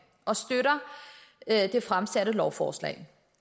og støtter det fremsatte lovforslag